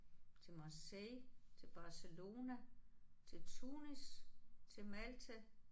Til Marseille til Barcelona til Tunis til Malta